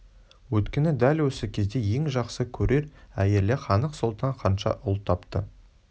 өйткені дәл осы кезде ең жақсы көрер әйелі ханық-сұлтан ханша ұл тапты